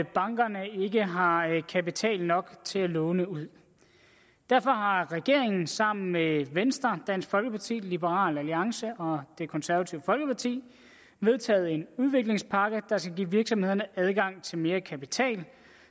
bankerne ikke har kapital nok til at låne ud derfor har regeringen sammen med venstre dansk folkeparti liberal alliance og det konservative folkeparti vedtaget en udviklingspakke der skal give virksomhederne adgang til mere kapital